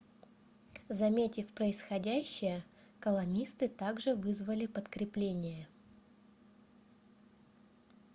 заметив происходящее колонисты также вызвали подкрепление